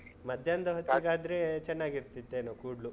ಮಧ್ಯಾಹ್ನದ ಹೊತ್ತಿಗಾದ್ರೇ ಚೆನ್ನಾಗಿರ್ತಿತ್ತೇನೋ, ಕೂಡ್ಲು?